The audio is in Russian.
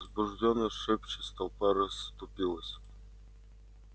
возбуждённо шепчась толпа расступилась